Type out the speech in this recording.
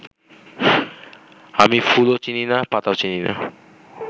আমি ফুলও চিনি না, পাতাও না